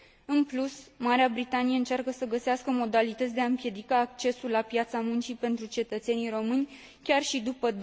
În plus, Marea Britanie încearcă să găsească modalități de a împiedica accesul la piața muncii pentru cetățenii români, chiar și după